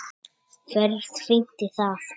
Ferð fínt í það.